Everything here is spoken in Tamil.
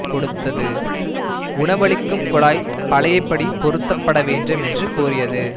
கொடுத்து உணவளிக்கும் குழாய் பழையபடி பொருத்தப்படவேண்டும் என்று கோரியது